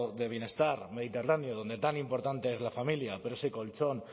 de bienestar mediterráneo donde tan importante es la familia pero ese colchón